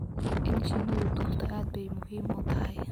In shinidu durto aad bay muhiim u tahay